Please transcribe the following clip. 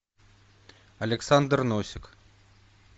александр носик